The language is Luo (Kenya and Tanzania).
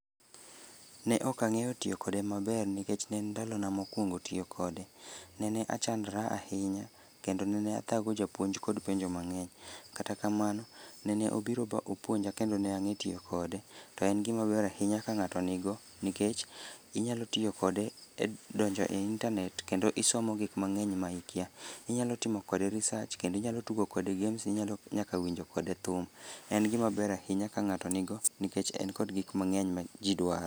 Ne ok ang'eyo tiyo kode maber nikech ne en ndalo na mokwongo tiyo kode. Nene achandra ahinya kendo nene athago japuonj kod penjo mang'eny. Kata kamano, nene obiro bopuonja kendo ne nag'e tiyo kode. To en gimaber ahinya ka ng'ato nigo nikech inyalo tiyo kode e donjo e internet kendo isomo gik mang'eny ma ikia. Inyalo timo kode research, kendo inyalo tugo kode games, inyalo nyaka winjo kode thum. En gimaber ahinya ka ng'ato nigo nikech en kod gik mang'eny ma ji dwaro.